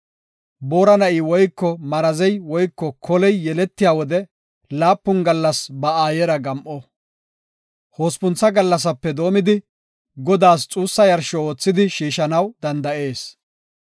“Boora na7i woyko marazey woyko koley yeletiya wode laapun gallas ba aayera gam7o. Hospuntha gallasape doomidi, Godaas xuussa yarsho oothidi shiishanaw danda7etees.